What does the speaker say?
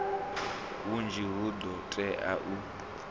hunzhi hu do todea u